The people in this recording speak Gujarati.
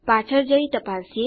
પાછળ જઈ તપાસીએ